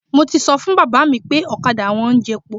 Mo ti sọ fún bàbá mi pé ọ̀kadà wọn ń jo epo.